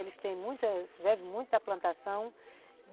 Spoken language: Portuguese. Eles têm, vivem de muita plantação.